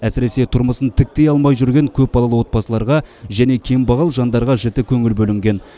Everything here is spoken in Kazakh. әсіресе тұрмысын тіктей алмай жүрген көпбалалы отбасыларға және кембағал жандарға жіті көңіл бөлінген